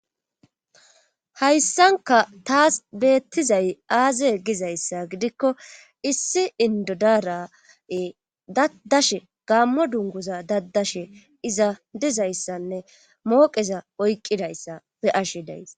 hayssanka taas beettizay aaze gizayssa gidikko issi indodaarae daddashe gammo dunguza daddashe iza dizayssanne mooqeza oyqqidayssa be ashe days